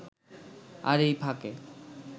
আর এই ফাঁকে